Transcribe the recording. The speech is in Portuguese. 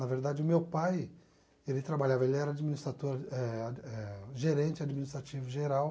Na verdade, o meu pai, ele trabalhava, ele era administrador eh eh gerente administrativo geral